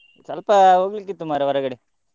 ಸ್ವಲ್ಪ ಹೋಗ್ಲಿಕಿತ್ತು ಮಾರ್ರೆ ಹೊರಗಡೆ.